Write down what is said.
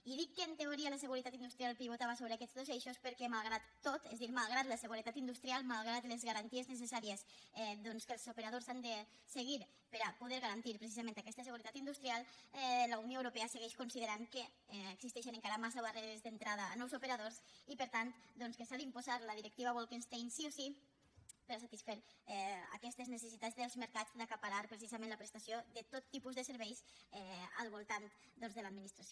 i dic que en teoria la seguretat industrial pivotava sobre aquests dos eixos perquè malgrat tot és a dir malgrat la seguretat industrial malgrat les garanties necessàries que els operadors han de seguir per a poder garantir precisament aquesta seguretat industrial la unió europea segueix considerant que existeixen encara massa barreres d’entrada a nous operadors i per tant doncs que s’ha d’imposar la directiva bolkestein sí o sí per a satisfer aquestes necessitats dels mercats d’acaparar precisament la prestació de tot tipus de serveis al voltant doncs de l’administració